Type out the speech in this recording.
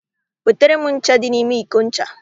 Wetara m ncha dị n'ime iko ncha